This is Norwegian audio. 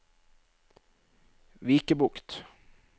Vikebukt